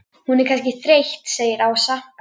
Hún er kannski þreytt segir Ása.